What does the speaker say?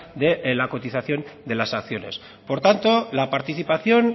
de la cotización de las acciones por tanto la participación